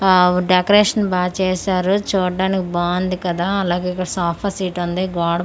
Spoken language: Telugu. వావ్ డెకరేషన్ బాచేశారు చూడ్డానికి బావుంది కదా అలాగే ఇక్కడ సాఫాసీట్ వుంది గోడ బావుం--